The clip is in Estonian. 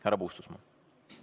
Härra Puustusmaa, palun!